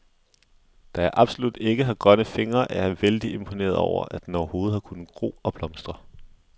Da jeg absolut ikke har grønne fingre, er jeg vældig imponeret over, at den overhovedet har kunnet gro og blomstre.